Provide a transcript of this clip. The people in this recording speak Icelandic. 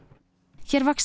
hér vaxa